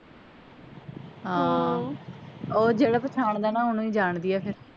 ਹਾਂ ਓਹ ਜਿਹੜਾ ਪਹਿਚਾਉਂਦਾ ਨਾ ਓਹਨੂੰ ਹੀ ਜਾਣਦੀ ਆ ਫੇਰ